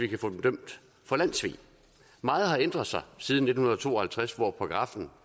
kan få dem dømt for landssvig meget har ændret sig siden nitten to og halvtreds hvor paragraffen